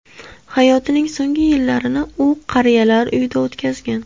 Hayotining so‘nggi yillarini u qariyalar uyida o‘tkazgan.